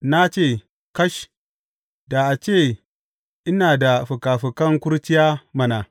Na ce, Kash, da a ce ina da fikafikan kurciya mana!